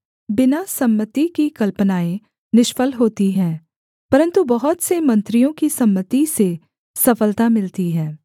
बिना सम्मति की कल्पनाएँ निष्फल होती हैं परन्तु बहुत से मंत्रियों की सम्मति से सफलता मिलती है